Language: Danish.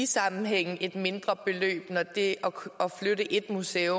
sammenligning jeg synes ikke